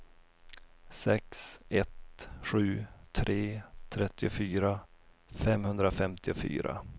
sex ett sju tre trettiofyra femhundrafemtiofyra